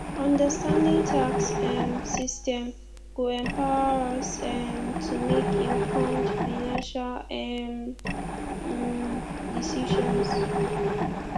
understanding tax um systems go empower us um to make informed financial um um decisions